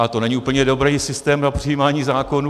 A to není úplně dobrý systém na přijímání zákonů.